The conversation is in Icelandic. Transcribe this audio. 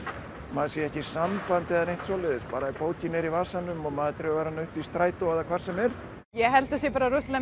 maður sé ekki í sambandi eða neitt svoleiðis bara bókin er í vasanum og maður dregur hana upp í strætó eða hvar sem er ég held að það sé rosalega